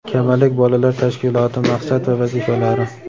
"Kamalak" bolalar tashkiloti maqsad va vazifalari.